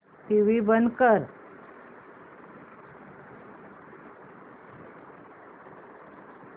TV बंद कर